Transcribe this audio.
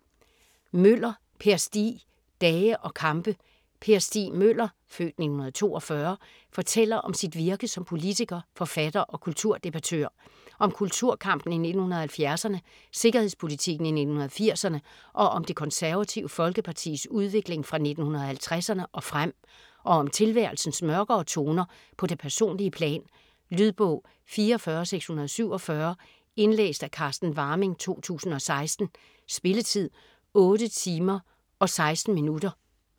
Møller, Per Stig: Dage og kampe Per Stig Møller (f. 1942) fortæller om sit virke som politiker, forfatter og kulturdebattør. Om kulturkampen i 1970'erne, sikkerhedspolitikken i 1980'erne og om Det Konservative Folkepartis udvikling fra 1950'erne og frem. Og om tilværelsens mørkere toner på det personlige plan. Lydbog 44647 Indlæst af Carsten Warming, 2016. Spilletid: 8 timer, 16 minutter.